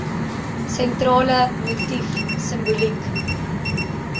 sentrale motief simboliek